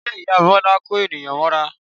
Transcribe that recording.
Ṣe ìyá Bọ́lá ń kó ènìyàn mọ́ra?